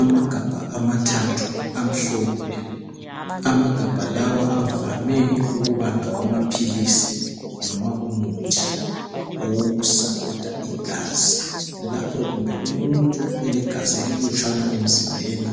Amagabha amathathu amhlophe. Amagabha lawa avame ukuba ngawamaphilisi noma umuthi owokusapota igazi lapho kumbe umuntu elegazi elilutshwana emzimbeni